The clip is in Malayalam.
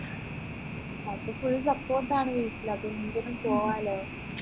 അപ്പോ full support ആണ് വീട്ടിൽ അപ്പോ എന്തിനും പോവാലോ